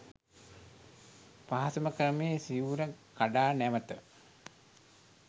පහසුම ක්‍රමය සිවුර කඩා නැවත